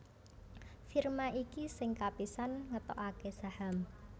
Firma iki sing kapisan ngetokaké saham